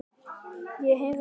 Ég heyrði.